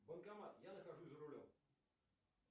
банкомат я нахожусь за рулем